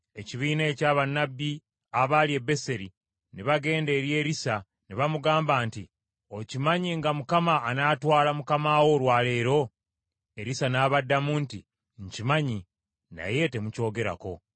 Ekibiina ekya bannabbi abaali e Beseri ne bagenda eri Erisa ne bamugamba nti, “Okimanyi nga Mukama anaatwala mukama wo olwa leero?” Erisa n’abaddamu nti, “Nkimanyi, naye temukyogerako.”